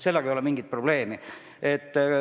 Sellega ei ole mingit probleemi.